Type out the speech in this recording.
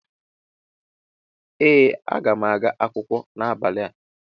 ee aga m aga akwụkwọ n'abalị a